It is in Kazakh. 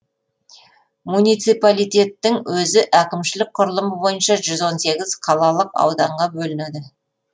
муниципалитеттің өзі әкімшілік құрылымы бойынша жүз он сегіз қалалық ауданға бөлінеді